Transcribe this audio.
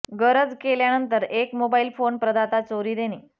गरज केल्यानंतर एक मोबाइल फोन प्रदाता चोरी देणे